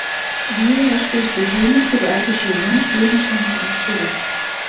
Víða er stuðst við heimildir í ævisögu Jóns Guðnasonar um Skúla